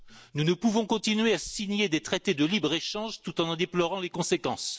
Nous ne pouvons continuer à signer des traités de libre échange tout en en déplorant les conséquences.